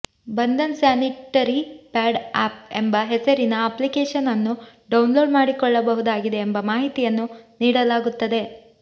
Bandhan sanitary pad app ಎಂಬ ಹೆಸರಿನ application ಅನ್ನು ಡೌನ್ಲೋಡ್ ಮಾಡಿಕೊಳ್ಳಬಹುದಾಗಿದೆ ಎಂಬ ಮಾಹಿತಿಯನ್ನು ನೀಡಲಾಗುತ್ತದೆ